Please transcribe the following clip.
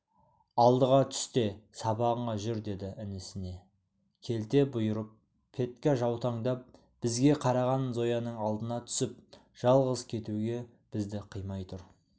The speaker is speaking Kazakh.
алдыға түс те сабағыңа жүр деді інісіне келте бұйырып петька жаутаңдап бізге қараған зояның алдына түсіп жалғыз кетуге бізді қимай тұр